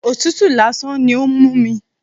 Òtútù lásán ni ó ń mú mi.